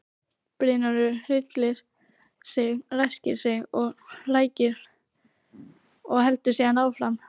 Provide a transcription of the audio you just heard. Brynjólfur hryllir sig, ræskir sig, hrækir og heldur síðan áfram.